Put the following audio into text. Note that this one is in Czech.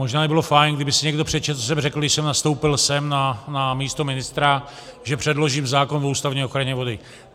Možná by bylo fajn, kdyby si někdo přečetl, co jsem řekl, když jsem nastoupil sem na místo ministra, že předložím zákon o ústavní ochraně vody.